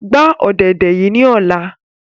Gba ọ̀dẹ̀dẹ̀ yii ni ọla!